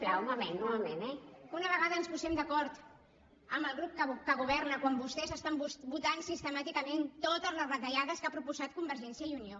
que una vegada ens posem d’acord amb el grup que governa quan vostès estan votant sistemàticament totes les retallades que ha proposat convergència i unió